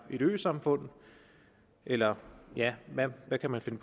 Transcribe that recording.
øsamfund eller hvad man kan